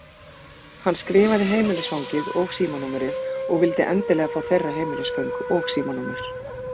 Hann skrifaði heimilisfangið og símanúmerið og vildi endilega fá þeirra heimilisföng og símanúmer.